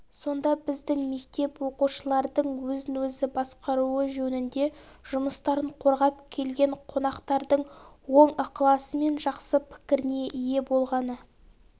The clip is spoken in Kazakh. сонда біздің мектеп оқушылардың өзін-өзі басқаруы жөнінде жұмыстарын қорғап келген қонақтардың оң ықыласы мен жақсы пікіріне ие болғаны